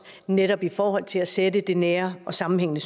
netop i forhold til at sætte det nære og sammenhængende